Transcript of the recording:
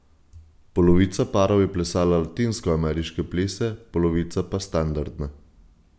Polovica parov je plesala latinskoameriške plese, polovica pa standardne.